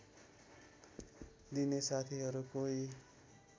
दिने साथीहरू कोही